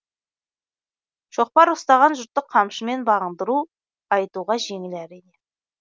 шоқпар ұстаған жұртты қамшымен бағындыру айтуға жеңіл әрине